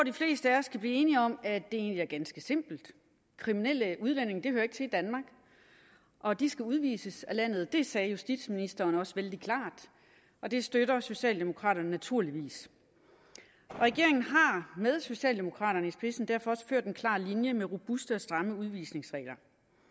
de fleste af os kan blive enige om at det egentlig er ganske simpelt kriminelle udlændinge hører ikke til i danmark og de skal udvises af landet det sagde justitsministeren også vældig klart og det støtter socialdemokraterne naturligvis regeringen har med socialdemokraterne i spidsen derfor også ført en klar linje med robuste og stramme udvisningsregler